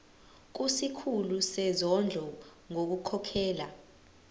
kusikhulu sezondlo ngokukhokhela